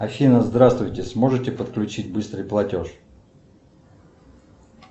афина здравствуйте сможете подключить быстрый платеж